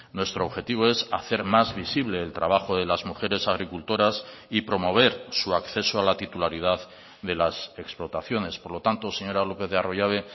nuestro objetivo es hacer más visible el trabajo de las mujeres agricultoras y promover su acceso a la titularidad de las explotaciones por lo tanto señora lópez de arroyabe